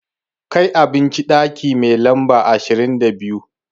Kai abinci ɗaki mai lamba ashirin da biyu!